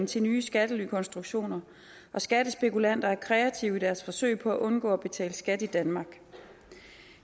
til nye skattelykonstruktioner og skattespekulanter er kreative i deres forsøg på at undgå at betale skat i danmark